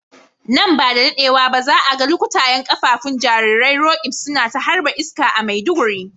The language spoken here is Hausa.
Nan ba da dadewa ba za a ga lukutayen kafafun jarirai Roqeeb suna ta harba iska a Maiduguri.